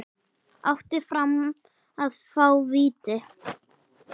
Átti Fram að fá víti?